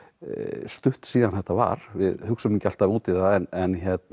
stutt síðan þetta var við hugsum ekki alltaf út í það en